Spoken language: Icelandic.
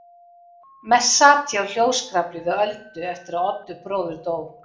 Mest sat ég á hljóðskrafi við Öldu eftir að Oddur bróðir dó.